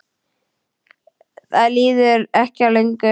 Það líður ekki á löngu.